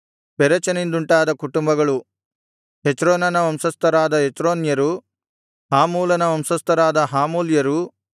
ಪೆರೆಚನಿಂದುಂಟಾದ ಕುಟುಂಬಗಳು ಹೆಚ್ರೋನನ ವಂಶಸ್ಥರಾದ ಹೆಚ್ರೋನ್ಯರೂ ಹಾಮೂಲನ ವಂಶಸ್ಥರಾದ ಹಾಮೂಲ್ಯರೂ